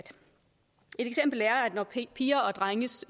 at når piger og drenges